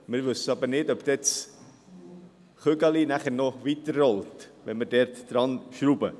Wir wissen aber nicht, ob das Kügelchen nachher noch weiterrollt, wenn wir daran schrauben.